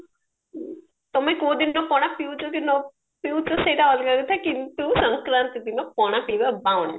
ତମେ କୋଉଦିନ ପଣା ପିଉଚ କି ନାପିଉଚ ସେଇଟା ଅଲଗା କଥା କିନ୍ତୁ ଶଙ୍କରାନ୍ତି ଦିନ ପଣା ପିଇବା bound